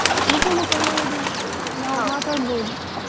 ಮುಖ ಮುಖ ನೋಡಿ, ನಾವ್ ಮಾತಾಡ್ಬಹುದು.